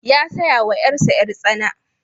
Ya saya wa ƴarsa ƴar-tsana.